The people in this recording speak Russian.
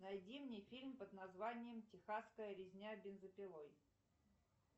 найди мне фильм под названием техасская резня бензопилой